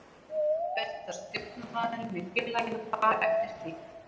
Ber þá stjórnaraðilum í félaginu að fara eftir því.